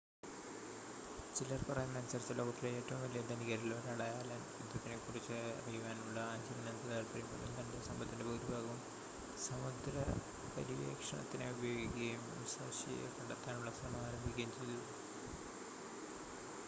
ചിലർ പറയുന്നതനുസരിച്ച് ലോകത്തിലെ ഏറ്റവും വലിയ ധനികരിൽ ഒരാളായ അലൻ യുദ്ധത്തിനെക്കുറിച്ച് അറിയുവാനുള്ള ആജീവനാന്ത താല്പര്യം മൂലം തൻ്റെ സമ്പത്തിൻ്റെ ഭൂരിഭാഗവും സമുദ്രപര്യവേഷണത്തിനായി ഉപയോഗിക്കുകയും മുസാഷിയെ കണ്ടെത്താനുള്ള ശ്രമം ആരംഭിക്കുകയും ചെയ്തു